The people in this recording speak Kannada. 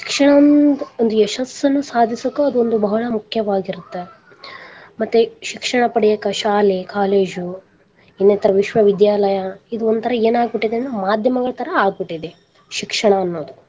ಒಂದು ಯಶಸ್ಸನ್ನು ಸಾದಿಸಾಕ ಅದೊಂದು ಬಾಳ ಮುಖ್ಯವಾಗಿರತ್ತೆ ಮತ್ತೆ ಶಿಕ್ಷಣ ಪಡಿಯಕ್ಕೆ ಶಾಲೆ ಕಾಲೇಜು ಇನ್ನೇತರ ವಿಶ್ವ ವಿದ್ಯಾಲಯ ಇದೊಂತರ ಏನ ಆಗ್ಬಿಟ್ಟಿದೆ ಮಾಧ್ಯಮಗಳ ತರಾ ಆಗ್ಬಿಟ್ಟಿದೆ ಶಿಕ್ಷಣ ಅನ್ನೋದು.